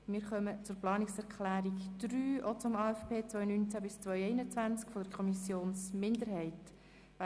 Wir kommen zur Planungserklärung 4, die ebenfalls von einer FiKo-Minderheit stammt.